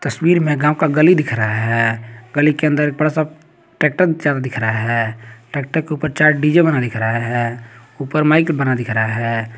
तस्वीर में गांव का गली दिख रहा है गली के अंदर एक बड़ा सा ट्रैक्टर दिख रहा है ट्रैक्टर के ऊपर चार डी_जे बना नजर आ रहा है ऊपर माइक बना दिख रहा है।